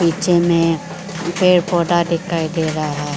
पीछे में पेड़ पौधा दिखाई दे रहा --